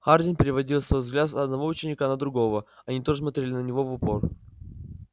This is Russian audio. хардин переводил свой взгляд с одного ученика на другого они тоже смотрели на него в упор